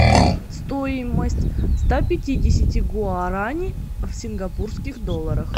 стоимость ста пятидесяти гуарани в сингапурских долларах